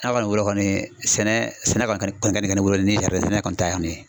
Ne kɔni wele kɔni sɛnɛ sɛnɛ ka kɛ, o kɔni ka nɔgɔ ne bolo ni sɛnɛ kɔni